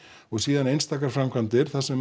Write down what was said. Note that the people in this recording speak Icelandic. og síðan einstaka framkvæmdir þar sem